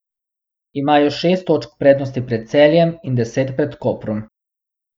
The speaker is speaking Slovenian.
Imajo šest točk prednosti pred Celjem in deset pred Koprom.